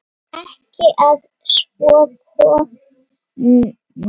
Ekki að svo komnu.